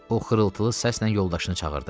O xırıltılı səslə yoldaşını çağırdı.